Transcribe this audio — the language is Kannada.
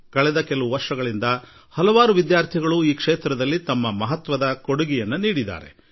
ಕಳೆದ ಕೆಲವು ವರ್ಷಗಳಿಂದ ಹಲವು ವಿದ್ಯಾರ್ಥಿಗಳು ಈ ಯೋಜನೆಗೆ ತಮ್ಮ ಕೊಡುಗೆ ನೀಡಿದ್ದಾರೆ